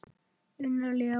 Unnar Leó.